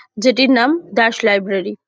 যেটির নাম দাস লাইব্রেরি ।